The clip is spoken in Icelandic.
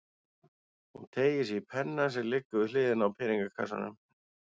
Hún teygir sig í penna sem liggur við hliðina á peningakassanum.